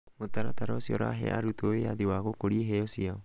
mũtaratara ũcio ũrahe arutwo wĩathi wa gũkũria iheo ciao.